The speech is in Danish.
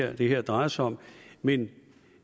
er det her drejer sig om men